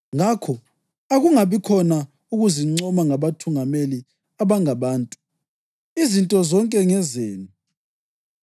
Ngakho, Akungabikhona ukuzincoma ngabathungameli abangabantu. Izinto zonke ngezenu,